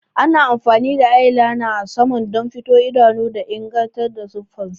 Ana amfani da eyeliner a saman don fito idanu da inganta siffar su.